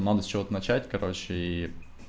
надо с чего начать короче и